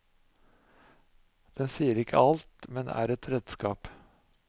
Den sier ikke alt, men er et redskap.